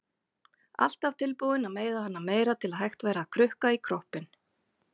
Alltaf tilbúin að meiða hana meira til að hægt væri að krukka í kroppinn.